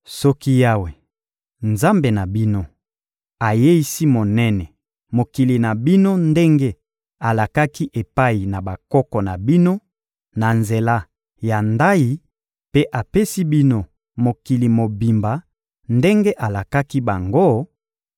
Soki Yawe, Nzambe na bino, ayeisi monene mokili na bino ndenge alakaki epai na bakoko na bino na nzela ya ndayi mpe apesi bino mokili mobimba ndenge alakaki bango,